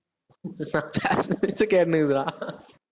tab திருப்பி கேட்டின்னுருக்குதுடா